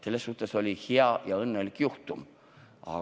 Selles suhtes oli tegemist hea ja õnneliku juhtumiga.